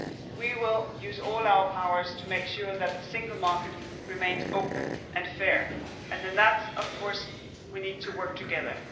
We will use all our powers to make sure that the single market remains open and fair and in that, of course, we need to work together.